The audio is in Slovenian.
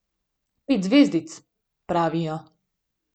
Pet zvezdic, pravijo.